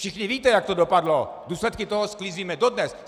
Všichni víte, jak to dopadlo, důsledky toho sklízíme dodnes.